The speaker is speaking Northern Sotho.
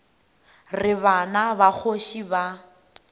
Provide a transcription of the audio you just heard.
re bana ba kgoši ba